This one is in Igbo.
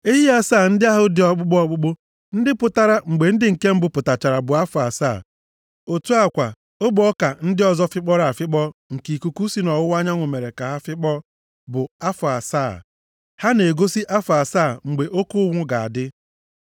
Ehi asaa ndị ọzọ ahụ dị ọkpụkpụ ọkpụkpụ ndị pụtara mgbe ndị nke mbụ pụtachara bụ afọ asaa. Otu a kwa ogbe ọka ndị ọzọ fịkpọrọ afịkpọ nke ikuku si nʼọwụwa anyanwụ mere ka ha fịkpọọ bụ afọ asaa. Ha na-egosi afọ asaa mgbe oke ụnwụ ga-adị.